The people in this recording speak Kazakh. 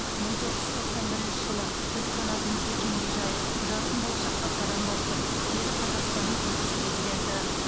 мың тоғыз жүз тоқсан бірінші жылы біз қанатымызды кеңге жайып жарқын болашаққа қадам бастық деді қазақстанның тұңғыш президенті